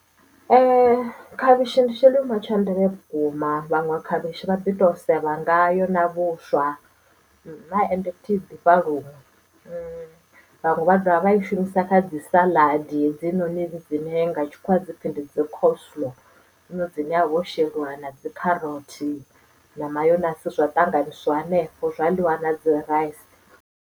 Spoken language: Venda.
Ee khavhishi ndi tshilinwa tsha ndeme vhukuma vhaṅwe khavhishi vha ḓi to sevha ngayo na vhuswa ende futhi i ḓifha luṅwe vhaṅwe vha dovha vha i shumisa dzi saḽadi hedzinoni dzine nga tshikhuwa dzi pfhi ndi dzikhosolo ndo zwino dzine havho sheliwa na dzikherotsi na mayonasi zwa ṱanganyiswa henefho zwa ḽiwa na dzi rice.